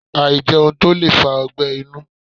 Àìjẹun tó lè fa ogbẹ́ inú